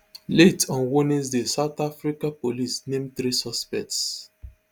late on wednesday south africa police name three suspects